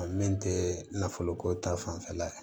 A min tɛ nafolo ko ta fanfɛla ye